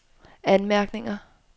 anmærkninger